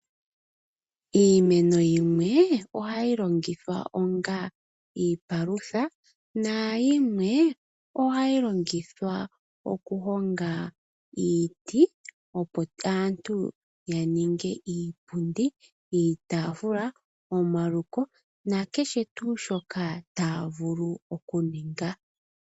Iimeno yimwe ohayi longitha onga iipalutha nayimwe ohayi longithwa okuhonga iiti, opo aantu ya ninge iipundi, iitafula, omaluko na kehe tuu shoka taya vulu okuninga.